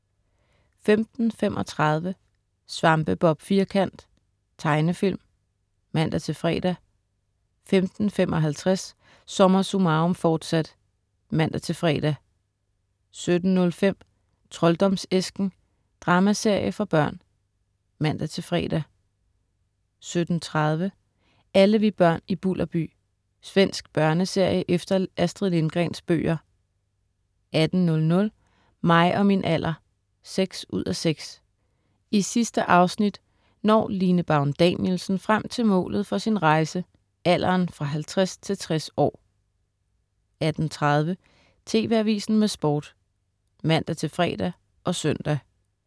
15.35 Svampebob Firkant. Tegnefilm (man-fre) 15.55 SommerSummarum, forsat* (man-fre) 17.05 Trolddomsæsken. Dramaserie for børn (man-fre) 17.30 Alle vi børn i Bulderby. Svensk børneserie efter Astrid Lindgrens bøger 18.00 Mig og min alder 6:6. I sidste afsnit når Line Baun Danielsen frem til målet for sin rejse, alderen fra 50 til 60 år 18.30 TV Avisen med Sport (man-fre og søn)